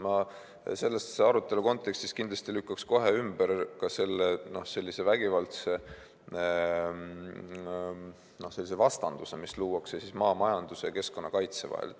Ma selle arutelu kontekstis kindlasti lükkaks kohe ümber ka sellise vägivaldse vastanduse, mis luuakse maamajanduse ja keskkonnakaitse vahel.